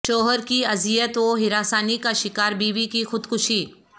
شوہر کی اذیت و ہراسانی کا شکار بیوی کی خودکشی